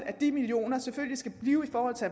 at de millioner selvfølgelig skal blive i forhold til